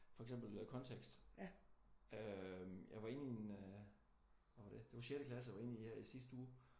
For eksempel øh kontekst øh jeg var inde i en øh hvad var det? Det var sjette klasse jeg var indeni her i sidste uge